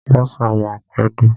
Bọ́sà máa pẹ́ dé.